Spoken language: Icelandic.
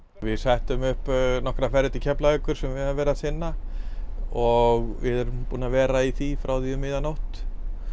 við settum um nokkra ferðir til Keflavíkur sem við höfum verið að sinna og erum búin að vera í því frá því um miðja nótt